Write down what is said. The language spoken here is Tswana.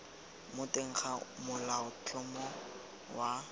mo teng ga molaotlhomo wa